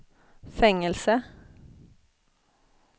fängelse